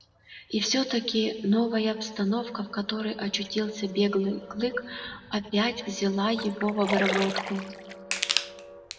и все таки новая обстановка в которой очутился белый клык опять взяла его в обработку